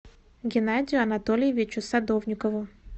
геннадию анатольевичу садовникову